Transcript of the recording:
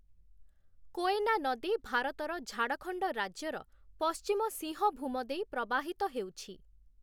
କୋୟେନା ନଦୀ ଭାରତର ଝାଡ଼ଖଣ୍ଡ ରାଜ୍ୟର ପଶ୍ଚିମ ସିଂହଭୂମ ଦେଇ ପ୍ରବାହିତ ହେଉଛି ।